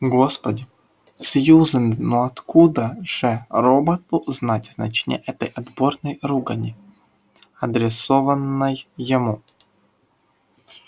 господи сьюзен ну откуда же роботу знать значение этой отборной ругани адресованной ему